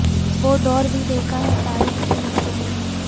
وہ دور بھی دیکھا ہے تاریخ کی نظروں نے